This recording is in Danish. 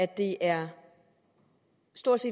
det er